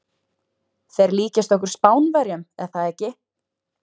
Þeir líkjast okkur Spánverjum, er það ekki?